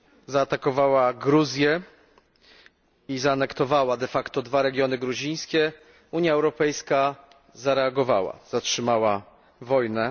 zaatakowała Gruzję i zaanektowała dwa regiony gruzińskie, Unia Europejska zareagowała powstrzymała wojnę.